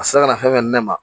A se ka na fɛn fɛn ne ma